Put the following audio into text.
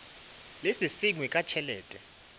le se sengwe ka tšhelete